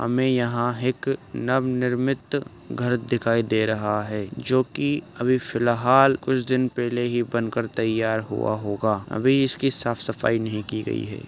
हमें यहां हेक नवनिर्मित घर दिखाई दे रहा है जो की अभी फिलहाल कुछ दिन पेले ही बन कर तईयार हुआ होगा। अभी इसकी साफ़-सफाई नहीं की गई है।